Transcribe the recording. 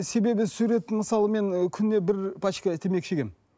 себебі сурет мысалы мен күніне бір пачка темекі шегемін